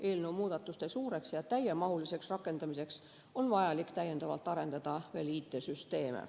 Eelnõu muudatuste suureks ja täiemahuliseks rakendamiseks on vajalik täiendavalt arendada veel IT‑süsteeme.